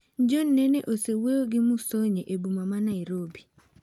John Nene osewuoyo gi Musonye e boma ma Nairobi.